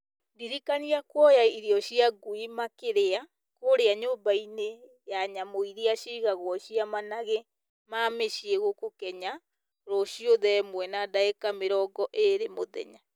ndirikania kũoya irio cia ngui makĩria kũrĩa nyũmba-inĩ nyamũ iria cigagwo ciĩ managĩ ma mũciĩ gũkũ Kenya rũciũ thaa ĩmwe na ndagĩka mĩrongo ĩĩrĩ mũthenya